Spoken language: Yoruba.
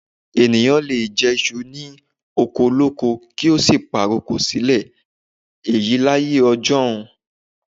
Ènìyàn lè jẹ iṣu ní oko olóko kí ó sì pàrokò sílẹ̀, èyí láyé ọjọ́un.